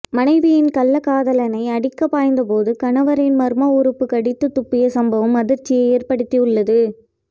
மனைவியின் கள்ளக்காதலனை அடிக்க பாய்ந்த போது கணவரின் மர்ம உறுப்பை கடித்து துப்பிய சம்பவம் அதிர்ச்சியை ஏற்படுத்தியுள்ளது